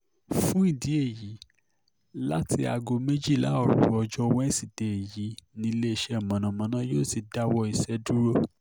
fún ìdí èyí láti aago méjìlá òru ọjọ́ wẹṣídẹ̀ẹ́ yìí níléeṣẹ́ mọ̀nàmọ́ná yóò ti dáwọ́ iṣẹ́ dúró